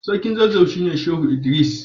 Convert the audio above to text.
Sarkin zazzau shine Shehu Idris.